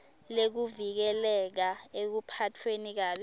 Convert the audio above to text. lekuvikeleka ekuphatfweni kabi